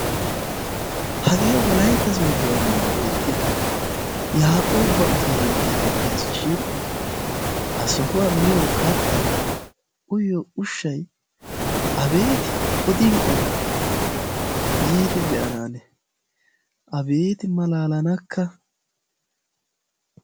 Hage wolaytta Sooddo ambba beetiya yaqqoba Utteliya geteteesishin ha sohuwaan miyoo kattay uyiyyo ushshay abeeti odin odo yiidi be'ana ane! abeeti malalanakka!